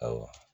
Awɔ